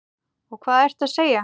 Og hvað ertu að segja?